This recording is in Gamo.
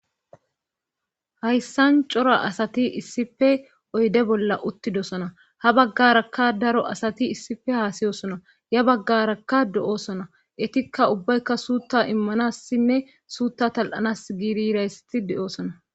hayssan cora asati issife oyde bolla uttidosona ha baggarakka daro asati issife haasiyosona ya baggarakka de7oosona etikka ubbaykka suutta immanassinne suutta tal7anas giirirayssati de7oosona